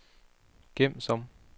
gem som